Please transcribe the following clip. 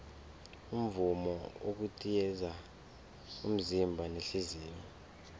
umvumo ukitaza umzimba nehliziyo